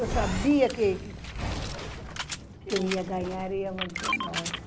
Eu sabia que que que quem ia ganhar ia ser nós.